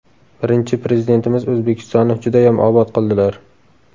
Birinchi Prezidentimiz O‘zbekistonni judayam obod qildilar.